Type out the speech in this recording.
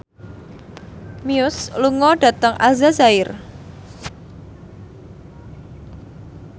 Muse lunga dhateng Aljazair